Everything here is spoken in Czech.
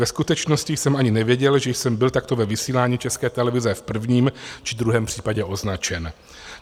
Ve skutečnosti jsem ani nevěděl, že jsem byl takto ve vysílání České televize v prvním či druhém případě označen.